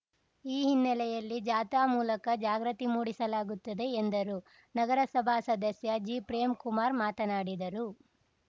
ಈ ಹಿನ್ನೆಲೆಯಲ್ಲಿ ಜಾಥಾ ಮೂಲಕ ಜಾಗೃತಿ ಮೂಡಿಸಲಾಗುತ್ತದೆ ಎಂದರು ನಗರಸಭಾ ಸದಸ್ಯ ಜಿಪ್ರೇಮ್‌ಕುಮಾರ್‌ ಮಾತನಾಡಿದರು